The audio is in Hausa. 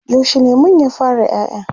yaushe lemun ya fara ƴaƴa?